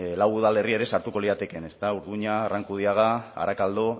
lau udalerri ere sartuko liratekeen ezta urduña arrankudiaga arakaldo